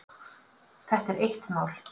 Þetta er eitt mál.